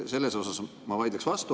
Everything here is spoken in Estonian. Siinkohal ma vaidleks vastu.